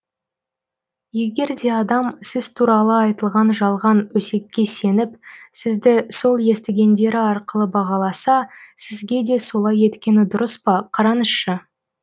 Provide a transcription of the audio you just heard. егер де адам сіз туралы айтылған жалған өсекке сеніп сізді сол естігендері арқылы бағаласа сізге де солай еткені дұрыс па қараңызшы